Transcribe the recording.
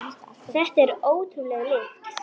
Þetta er ótrúleg lykt.